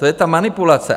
To je ta manipulace!